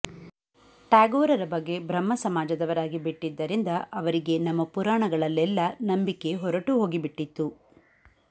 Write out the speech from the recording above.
ಟ್ಯಾಗೋರರ ಬಗ್ಗೆ ಬ್ರಹ್ಮ ಸಮಾಜದವರಾಗಿ ಬಿಟ್ಟಿದ್ದರಿಂದ ಅವರಿಗೆ ನಮ್ಮ ಪುರಾಣಗಳಲ್ಲೆಲ್ಲ ನಂಬಿಕೆ ಹೊರಟುಹೋಗಿಬಿಟ್ಟಿತ್ತು